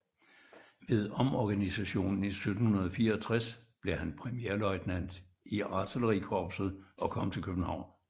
Ved omorganisationen 1764 blev han premierløjtnant i Artillerikorpset og kom til København